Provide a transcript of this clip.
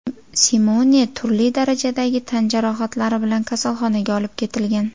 Simone turli darajadagi tan jarohatlari bilan kasalxonaga olib ketilgan.